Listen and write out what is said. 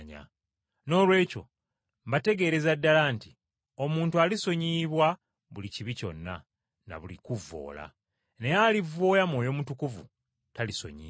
Noolwekyo mbategeereza ddala nti omuntu alisonyiyibwa buli kibi kyonna, na buli kuvvoola. Naye alivvoola Mwoyo Mutukuvu talisonyiyibwa.